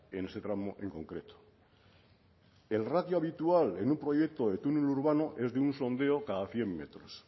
en ese tramo en concreto el ratio habitual en un proyecto de túnel urbano es de un sondeo cada cien metros